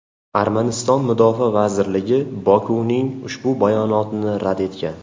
Armaniston Mudofaa vazirligi Bokuning ushbu bayonotini rad etgan.